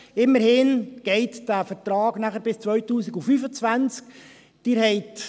Immerhin läuft der Vertrag nachher bis 2025.